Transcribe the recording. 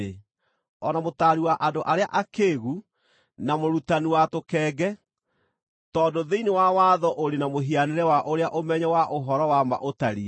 o na mũtaari wa andũ arĩa akĩĩgu, na mũrutani wa tũkenge, tondũ thĩinĩ wa watho ũrĩ na mũhianĩre wa ũrĩa ũmenyo wa ũhoro-wa-ma ũtariĩ;